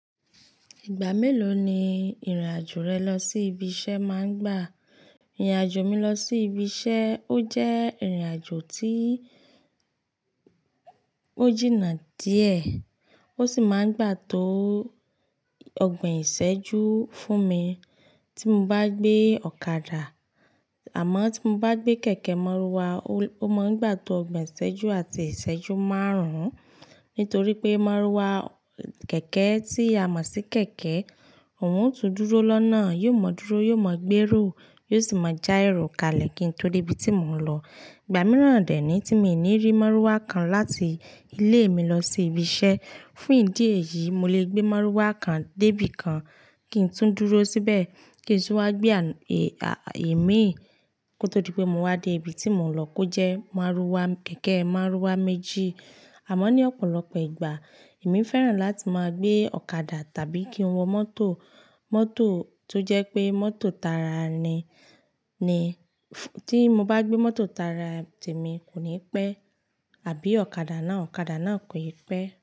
Ìgbà mélòó ni ìrìnàjò rẹ lọ sí ibi iṣẹ́ máa ń gbà? Ìrìnàjò mi lọ sí ibi iṣẹ́ ó jẹ́ ìrìnàjò tí ó jìnnà díẹ̀ ó sì máa ń gbà tó ọgbọ̀n ìṣẹ́jú fún mi tí mo bá gbé ọ̀kadà àmọ́ tí mo bá gbé kẹ̀kẹ́ márúwá, ó máa ń gbà tó ọgbọ̀n ìṣẹ́jú àti ìṣẹ́jú márùn-ún nítorí pé márúwá kẹ̀kẹ́ tí a mọ̀ sí kẹ̀kẹ́ òún tún dúró lọ́nà, yóò mọ dúró, yóò mọ gbé èrò, yóò sì máa já èrò kalẹ̀ kí n tó dé ibi tí mò ń lọ. Ìgbà mìíràn dẹ́ níí tí mi ò ní rí márúwá kan láti ilé mi lọ sí ibi iṣẹ́, fún ìdí èyí, mo lè gbé márúwá kan dé ibi kan kí n tún dúró síbẹ̀ kí ń tún wá gbé òmíì kó tó di pé mo wá dé ibi tí mò ń lọ kó jẹ́ márúwá kẹ̀kẹ́ márúwá méjì. Àmọ́ ní ọ̀pọ̀lọpọ̀ ìgbà èmi fẹ́ràn láti máa gbé ọ̀kadà tàbí kí n wọ mọ́tò, mọ́tò tó jẹ́ pé mọ́tò tààra ni. Tí mo bá gbé mọ́tò Tara tèmi, kò ní pẹ́ àbí ọ̀kadà náà, ọ̀kadà náà kò e pẹ́.